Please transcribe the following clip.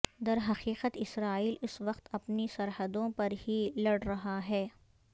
درحقیقت اسرائیل اس وقت اپنی سرحدوں پر ہی لڑ رہا ہے